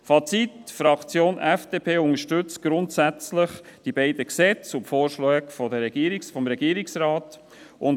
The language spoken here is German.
Fazit: Die Fraktion FDP unterstützt grundsätzlich die beiden Gesetze und die Vorschläge des Regierungsrates.